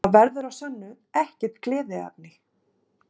Það verður að sönnu ekkert gleðiefni